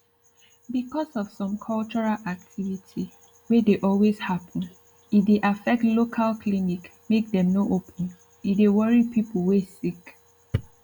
because of some cultural activity wey dey always happen e dey affect local clinic make dem no open e dey worry pipu wey sick